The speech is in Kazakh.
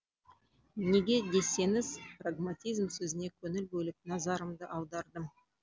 неге десеңіз прагматизм сөзіне көңіл бөліп назарымды аудардым